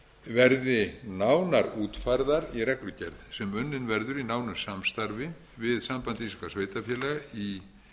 reglur verði nánar útfærðar í reglugerð sem unnin verður í nánu samstarfi við samband íslenskra sveitarfélaga